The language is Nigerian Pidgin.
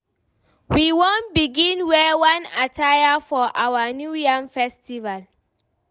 We wan begin wear one attire for our new yam festival.